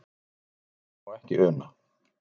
Við það má ekki una.